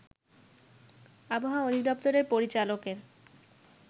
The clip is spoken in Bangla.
আবহাওয়া অধিদপ্তরের পরিচালকের